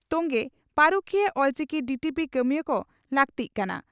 ᱛᱚᱝᱜᱮᱹᱹᱹᱹᱹᱹ ᱯᱟᱹᱨᱩᱠᱷᱤᱭᱟᱹ ᱚᱞᱪᱤᱠᱤ ᱰᱤᱹᱴᱤᱹᱯᱤᱹ ᱠᱟᱹᱢᱤᱭᱟᱹ ᱠᱚ ᱞᱟᱹᱠᱛᱤᱜ ᱠᱟᱱᱟ